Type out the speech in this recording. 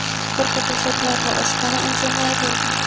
ko‘rpa-to‘shaklar va oshxona anjomlari bergan.